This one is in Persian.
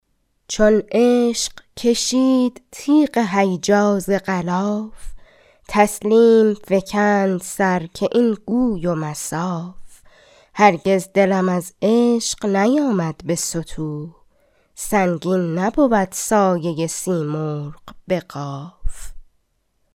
چون عشق کشید تیغ هیجا ز غلاف تسلیم فکند سر که این گوی و مصاف هرگز دلم از عشق نیامد به ستوه سنگین نبود سایه سیمرغ به قاف